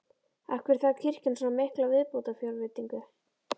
Af hverju þarf kirkjan svona mikla viðbótarfjárveitingu?